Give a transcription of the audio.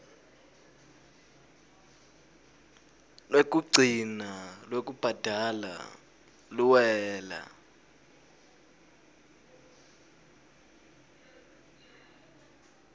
lwekugcina lwekubhadala luwela